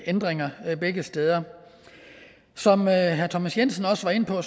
ændringer begge steder som herre thomas jensen også var inde på